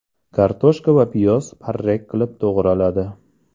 Kartoshka va piyoz parrak qilib to‘g‘raladi.